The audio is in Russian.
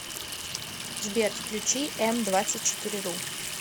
сбер включи эм двадцать четыре ру